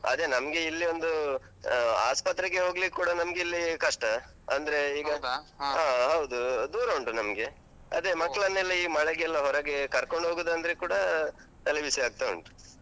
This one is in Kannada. ಅದೆ ನಮ್ಗೆ ಇಲ್ಲೀ ಒಂದು ಆ ಆಸ್ಪತ್ರೆಗೆ ಹೋಗ್ಲಿಕ್ಕ್ ಕೂಡ ನಮ್ಗೆ ಇಲ್ಲೀ ಕಷ್ಟ ಅಂದ್ರೆ ಹಾ ಹೌದೂ, ದೂರ ಉಂಟು ನಮ್ಗೆ. ಅದೆ ಈ ಮಳೆಗೆಲ್ಲ ಹೊರಗೆ ಕರ್ಕೊಂಡ್ ಹೋಗುದಂದ್ರೆ ಕೂಡಾ ತಲೆ ಬಿಸಿ ಆಗ್ತಾ ಉಂಟು.